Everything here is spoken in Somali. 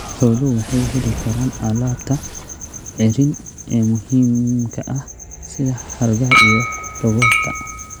Xooluhu waxay heli karaan alaabta ceeriin ee muhiimka ah sida hargaha iyo dhogorta.